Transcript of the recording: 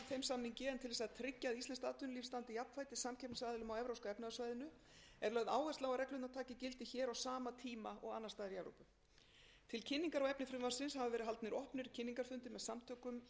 samningi en til þess að tryggja að íslenskt atvinnulíf standi jafnfætis samkeppnisaðilum á evrópska efnahagssvæðinu er lögð áhersla á að reglurnar taki gildi hér á sama tíma og annars staðar í evrópu til kynningar á efni frumvarpsins hafa verið haldnir opnir kynningarfundir með samtökum